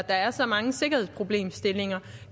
er så mange sikkerhedsproblemstillinger